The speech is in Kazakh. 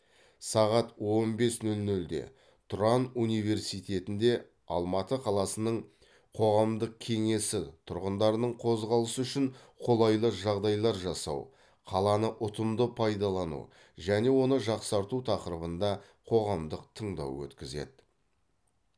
сағат он бес нөл нөлде тұран университетінде алматы қаласының қоғамдық кеңесі тұрғындардың қозғалысы үшін қолайлы жағдайлар жасау қаланы ұтымды пайдалану және оны жақсарту тақырыбында қоғамдық тыңдау өткізеді